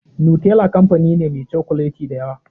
Nutella kamfani ne meh cokuleti da yawa.